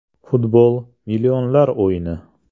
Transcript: Futbol - millionlar o‘yini.